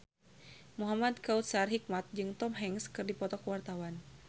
Muhamad Kautsar Hikmat jeung Tom Hanks keur dipoto ku wartawan